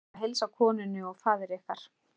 Bið að heilsa konunni og faðir yðar.